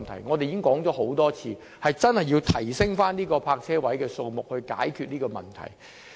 我們已多次表示，當局真要增加泊車位數目以解決這個問題。